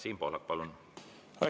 Siim Pohlak, palun!